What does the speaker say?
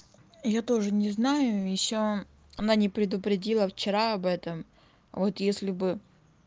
я тоже не знаю ещё она не предупредила вчера об этом вот если бы